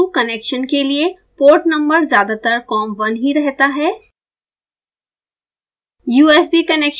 rs232 connection के लिए port number ज़्यादातर com1 ही रहता है